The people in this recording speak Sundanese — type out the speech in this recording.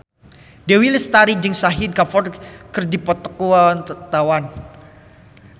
Dewi Lestari jeung Shahid Kapoor keur dipoto ku wartawan